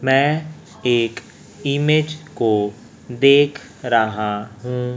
मैं एक इमेज को देख रहा हूं।